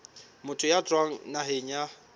motho ya tswang naheng ya